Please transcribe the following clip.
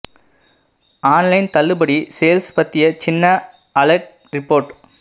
on line தள்ளுபடி sales பத்திய சின்ன அலெர்ட் ரிப்போர்ட்